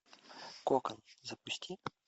кокон запусти